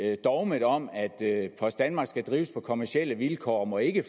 med dogmet om at post danmark skal drives på kommercielle vilkår og ikke